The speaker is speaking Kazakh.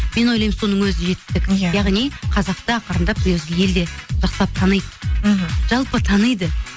мен ойлаймын соның өзі жетістік иә яғни қазақты ақырындап өзі елде жақсылап таниды мхм жалпы таниды